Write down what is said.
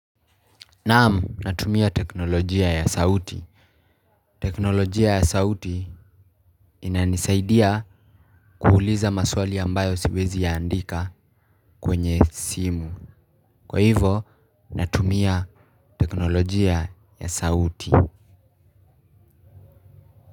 Naam natumia teknolojia ya sauti. Teknolojia ya sauti inanisaidia kuuliza maswali ambayo siwezi yaandika kwenye simu. Kwa hivo natumia teknolojia ya sauti.